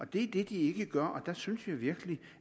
det er det de ikke gør og der synes jeg virkelig